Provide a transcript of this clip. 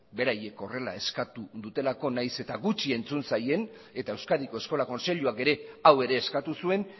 beraiek horrela eskatu dutelako nahiz eta gutxi entzun zaien eta euskadiko eskola kontseiluak ere hau ere eskatu zuen